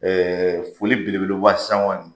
Ɛɛ foli belebele kɔni.